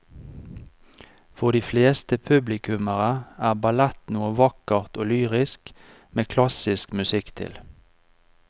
For de fleste publikummere er ballett noe vakkert og lyrisk med klassisk musikk til.